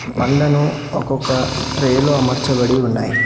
పండ్లను ఒక్కొక్క ట్రే లో అమర్చబడి ఉన్నాయి.